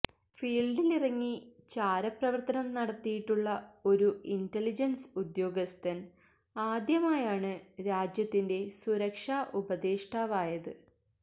ഫീല്ഡിലിറങ്ങി ചാരപ്രവര്ത്തനം നടത്തിയിട്ടുള്ള ഒരു ഇന്റലിജന്സ് ഉദ്യോഗസ്ഥന് ആദ്യമായാണ് രാജ്യത്തിന്റെ സുരക്ഷാ ഉപദേഷ്ടാവായത്